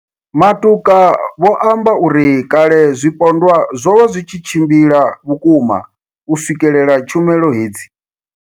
Matuka vho amba uri kale zwipondwa zwo vha zwi tshi tshimbila vhukuma u swikelela tshumelo hedzi.